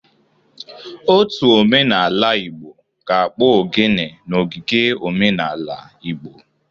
Ótù omenaala Igbo ga-akpọ Oghene n'ogige omenala Igbo.